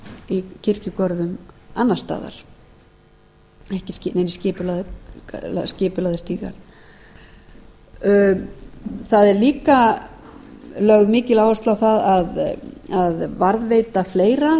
í kirkjugörðum annars staðar þar eru neinir ekki skipulagðir stígar hér heldur ásta áfram ekki neinir skipulagðir stígar það er líka lögð mikil áhersla á að varðveita fleira